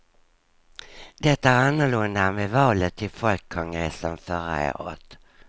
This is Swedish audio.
Det är annorlunda än vid valet till folkkongressen förra året.